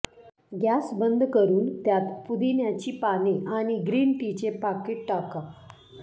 gas बंद करुन त्यात पुदिन्याची पाने आणि ग्रीन टीचे पाकीट टाका